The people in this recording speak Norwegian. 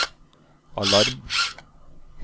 alarm